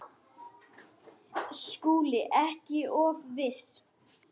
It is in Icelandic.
SKÚLI: Ekki of viss!